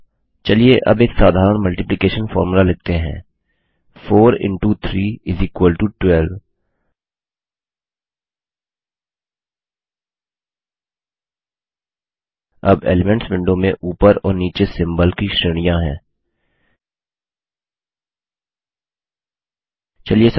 अच्छा चलिए अब एक साधारण मल्टिप्लिकेशन फॉर्मूला लिखते हैं 4एक्स3 12 अब एलिमेंट्स विंडो में ऊपर और नीचे सिम्बल्स चिन्हों की श्रेणियाँ हैं